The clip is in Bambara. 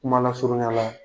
Kuma lasurunya la.